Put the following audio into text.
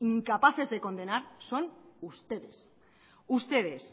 incapaces de condenar son ustedes ustedes